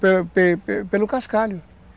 Pelo pelo pelo cascalho